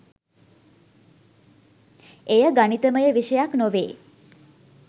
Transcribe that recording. එය ගණිතමය විෂයක් නොවේ